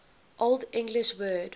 old english word